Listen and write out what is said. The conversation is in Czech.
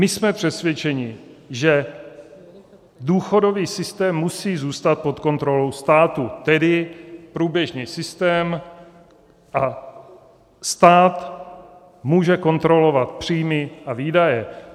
My jsme přesvědčeni, že důchodový systém musí zůstat pod kontrolou státu, tedy průběžný systém, a stát může kontrolovat příjmy a výdaje.